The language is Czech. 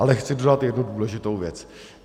Ale chci dodat jednu důležitou věc.